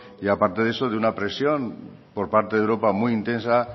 y aparte de eso de una presión por parte de europa muy intensa